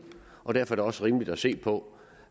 og derfor er det også rimeligt at se på